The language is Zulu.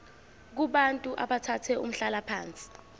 kubantu abathathe umhlalaphansi